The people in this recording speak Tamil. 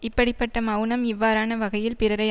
இப்படி பட்ட மெளனம் இவ்வாறான வகையில் பிறரை